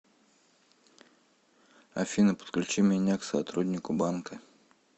афина подключи меня к сотруднику банка